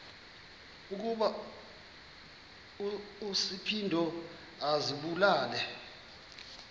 ukuba uspido azibulale